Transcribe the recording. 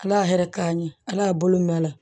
Ala y'a yɛrɛ k'an ye ala bolo nɔ la